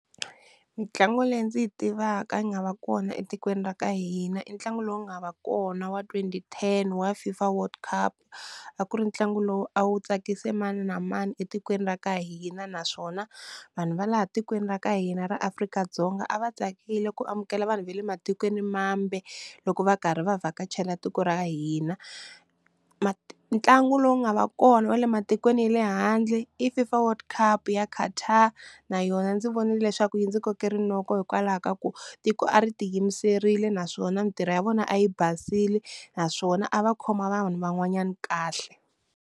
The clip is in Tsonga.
Mintlangu leyi ndzi yi tivaka yi nga va kona etikweni ra ka hina i ntlangu lowu nga va kona wa twenty ten wa FIFA world cup a ku ri ntlangu lowu a wu tsakise mani na mani etikweni ra ka hina naswona vanhu va laha tikweni ra ka hina ra Afrika-Dzonga a va tsakile ku amukela vanhu va le matikweni mambe loko va karhi va vhakachela tiko ra hina, ntlangu lowu nga va kona va le matikweni ya le handle i FIFA world cup ya Qatar na yona ndzi vonile leswaku yi ndzi koke rinoko hikwalaho ka ku tiko a ri ti yimiserile naswona mintirho ya vona a yi basile naswona a va khoma vanhu van'wanyana kahle.